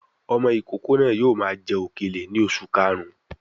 Ọmọ ìkókó náà yóò máa jẹ òkèlè ní oṣù karùn-ún